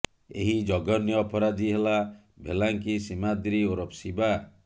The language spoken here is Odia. ଏହି ଜଘନ୍ୟ ଅପରାଧୀ ହେଲା ଭେଲ୍ଲାଙ୍କି ସୀମାଦ୍ରି ଓରଫ ଶିବା